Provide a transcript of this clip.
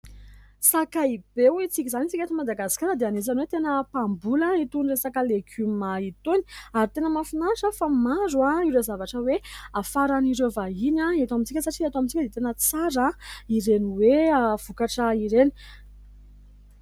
Sakaibe ho isika izany. Isika eto Madagasikara dia anisan'izany hoe tena mpamboly itony resaka legioma itony. Ary tena mafinaritra fa maro ireo zavatra hoe hafaran'ireo vahiny eto amintsika satria eto amintsika dia tena tsara ireny hoe vokatra ireny.